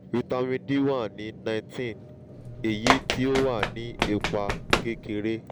vitamin d wa ni nineteen eyi ti o wa ni ipa kekere